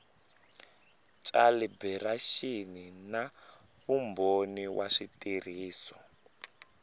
calibiraxini na vumbhoni wa switirhiso